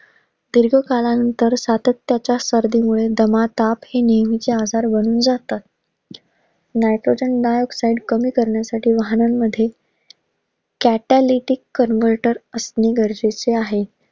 दीर्घकाळानुसार सातत्याच्या सर्दीमुळे दमा, ताप हे नेहमीचे आजार बनून जातात. Nitrogen dioxide कमी करण्यासाठी वाहनांमध्ये patheolithic convertor असणं गरजेचं आहे.